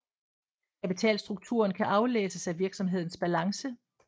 Kapitalstrukturen kan aflæses af virksomhedens balance